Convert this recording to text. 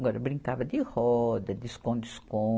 Agora, brincava de roda, de esconde-escon.